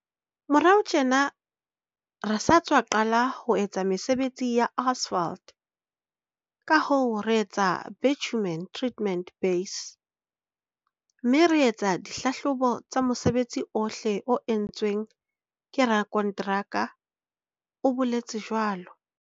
"Morao tjena re sa tswa qala ho etsa mesebetsi ya asphalt kahoo re etsa bitumen treated base mme re etsa di hlahlobo tsa mosebetsi ohle o entsweng ke rakonteraka," o boletse jwalo.